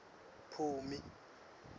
phumi